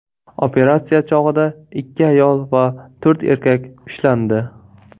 Operatsiya chog‘ida ikki ayol va to‘rt erkak ushlandi.